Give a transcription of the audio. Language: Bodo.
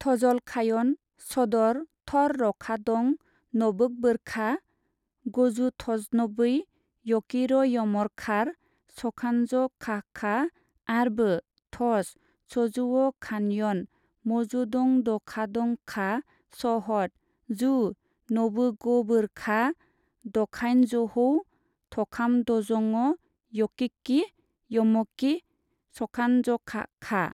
थजलखायन सदर थर-रखादं नबोगबोरखा गजुथजनबै यकिर'यमरखार सखानजखाहखा, आरबो थस-सजुवखानयन मजुदंदखादंखखा सहद जु नबोगबोरखा दखाइनजहौ थखामथजङ' यकिकिः यमकिः सखानजखाहखा।